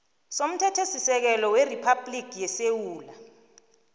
somthethosisekelo weriphabhligi yesewula